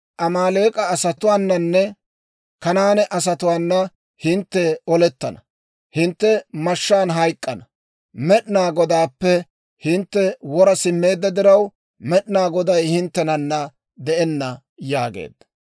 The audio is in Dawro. Amaaleek'a asatuwaananne Kanaane asatuwaana hintte olettana; hintte mashshaan hayk'k'ana. Med'inaa Godaappe hintte wora simmeedda diraw, Med'inaa Goday hinttenana de'enna» yaageedda.